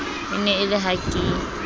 e ne e le hake